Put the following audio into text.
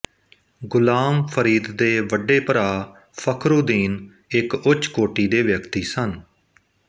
ਗੁਲਾਮ ਫ਼ਰੀਦ ਦੇ ਵੱਡੇ ਭਰਾ ਫਖਰੁਦੀਨ ਇੱਕ ਉੱਚ ਕੋੁਟੀ ਦੇ ਵਿਆਕਤੀ ਸਨ